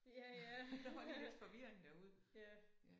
Ja ja ja